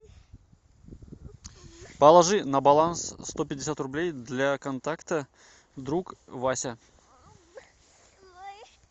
положи на баланс сто пятьдесят рублей для контакта друг вася